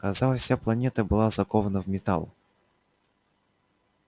казалось вся планета была закована в металл